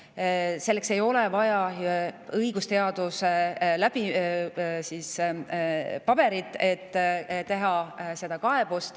Selleks, et seda teha, ei ole vaja õigusteaduse paberit.